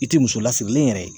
I ti muso lasirilen yɛrɛ ye.